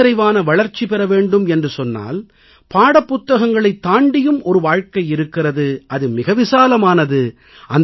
முழுநிறைவான வளர்ச்சி பெற வேண்டும் என்று சொன்னால் பாடப்புத்தகங்களைத் தாண்டியும் ஒரு வாழ்க்கை இருக்கிறது அது மிக விசாலமானது